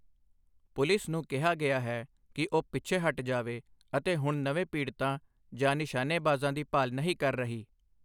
Police ਨੂੰ ਕਿਹਾ ਗਿਆ ਹੈ ਕਿ ਉਹ ਪਿੱਛੇ ਹੱਟ ਜਾਵੇ ਅਤੇ ਹੁਣ ਨਵੇਂ ਪੀੜਤਾਂ ਜਾਂ ਨਿਸ਼ਾਨੇਬਾਜ਼ਾਂ ਦੀ ਭਾਲ ਨਹੀਂ ਕਰ ਰਹੀ।